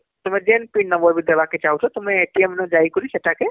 ତୁମେ ଯେନ pin number ବି ଦେବାକେ ଚାଁହୁଛେ ତୁମେ ରେ ଯାଇକରି ସେଟାକେ